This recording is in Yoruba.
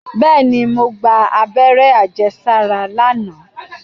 Bẹ́ẹ̀ni, mo gba abẹ́rẹ́ àjẹsára lánàá